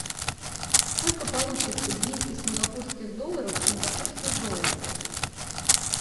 сколько получится двести сингапурских долларов в сингапурских долларах